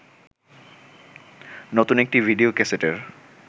নতুন একটি ভিডিও ক্যাসেটের